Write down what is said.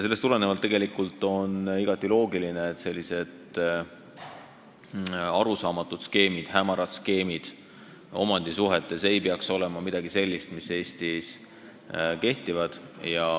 Sellised arusaamatud, hämarad skeemid omandisuhetes ei tohiks küll Eestis kehtida.